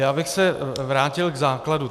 Já bych se vrátil k základu.